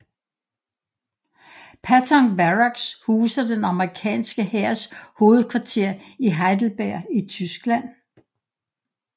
Patton Barracks huser den amerikanske hærs hovedkvarter i Heidelberg i Tyskland